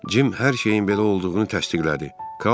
Cim hər şeyin belə olduğunu təsdiqlədi.